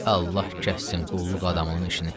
Allah kəssin qulluq adamının işini.